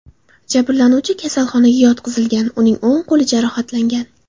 Jabrlanuvchi kasalxonaga yotqizilgan, uning o‘ng qo‘li jarohatlangan.